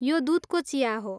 यो दुधको चिया हो।